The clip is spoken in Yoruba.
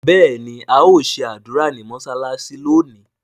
béèni ao ṣe ádùrá ní mọsalasi lónì.